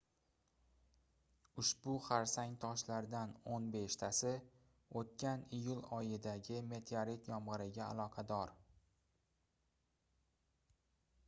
ushbu xarsang toshlardan oʻn beshtasi oʻtgan iyul oyidagi meteorit yomgʻiriga aloqador